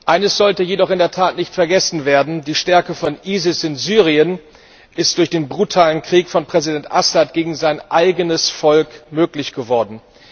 Eines sollte jedoch in der Tat nicht vergessen werden Die Stärke von ISIS in Syrien ist durch den brutalen Krieg von Präsident Assad gegen sein eigenes Volk möglich geworden.